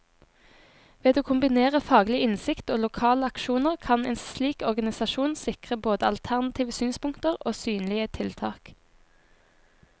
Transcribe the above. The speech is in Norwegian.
Ved å kombinere faglig innsikt og lokale aksjoner, kan en slik organisasjon sikre både alternative synspunkter og synlige tiltak.